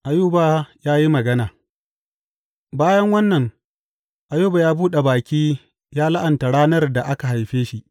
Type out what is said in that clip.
Ayuba ya yi magana Bayan wannan Ayuba ya buɗe baki ya la’anta ranar da aka haife shi.